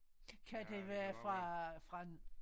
Kan det være fra fra